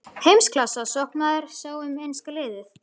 Heimsklassa sóknarmaður sá um enska liðið.